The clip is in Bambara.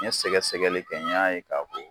N ɲe sɛgɛsɛgɛli kɛ n y'a ye k'a fɔ